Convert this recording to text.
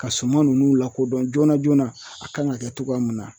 Ka suma nunnu lakodɔn joona joona a kan ka kɛ togoya mun na.